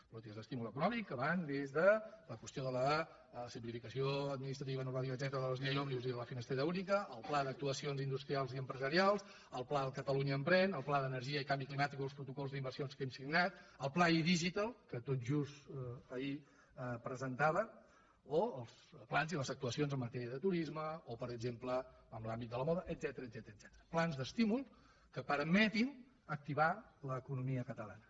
polítiques d’estímul econòmic que van des de la qüestió de la simplificació administrativa normativa etcètera de la llei òmnibus i la finestreta única al pla d’actuacions industrials i empresarials al pla catalunya emprèn al pla d’energia i canvi climàtic o els protocols d’inversions que hem signat el pla idigital que tot just ahir presentava o els plans i les actuacions en matèria de turisme o per exemple en l’àmbit de la moda etcètera plans d’estímul que permetin activar l’economia catalana